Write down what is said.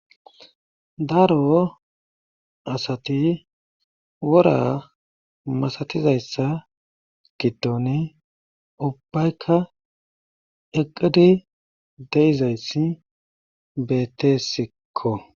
Daro asati wora masatizayssa giddoni ubbayka eqqid de7izayssi beettesikko.